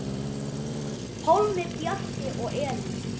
Pálmi, Bjarki og Elín.